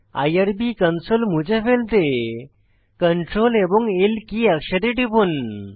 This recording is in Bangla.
আইআরবি কনসোল মুছে ফেলতে সিআরটিএল এবং L কী একসাথে টিপুন